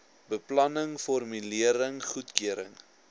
beplanning formulering goedkeuring